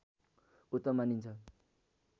उत्तम मानिन्छ